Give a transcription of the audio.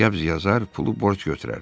Qəbz yazar, pulu borc götürər.